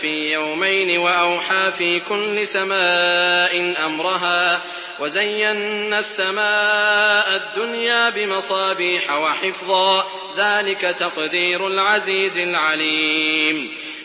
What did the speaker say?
فِي يَوْمَيْنِ وَأَوْحَىٰ فِي كُلِّ سَمَاءٍ أَمْرَهَا ۚ وَزَيَّنَّا السَّمَاءَ الدُّنْيَا بِمَصَابِيحَ وَحِفْظًا ۚ ذَٰلِكَ تَقْدِيرُ الْعَزِيزِ الْعَلِيمِ